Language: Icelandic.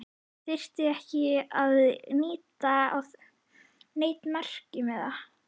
Þyrfti ekki að líta á neinn merkimiða.